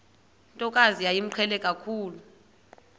ntokazi yayimqhele kakhulu